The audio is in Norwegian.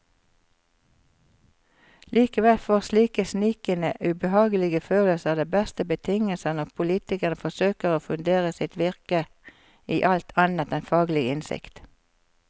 Likevel får slike snikende, ubehagelige følelser de beste betingelser når politikere forsøker å fundere sitt virke i alt annet enn faglig innsikt.